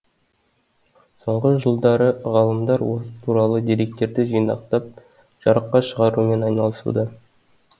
соңғы жылдары ғалымдар ол туралы деректерді жинақтап жарыққа шығарумен айналысуда